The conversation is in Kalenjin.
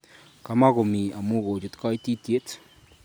Kamuko mii amu ko chut kaitityet